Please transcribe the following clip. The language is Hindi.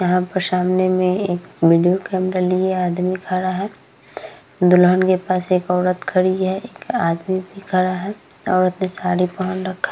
यहाँ पर सामने में एक वीडियो कैमरा लिए एक आदमी खड़ा है दुल्हन के पास एक औरत खड़ी है एक आदमी भी खड़ा है और उसने साड़ी पहन रखा --